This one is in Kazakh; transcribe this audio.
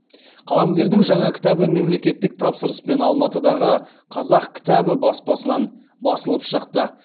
қаламгердің жаңа кітабы мемлекеттік тапсырыспен алматыдағы қазақ кітабы баспасынан басылып шықты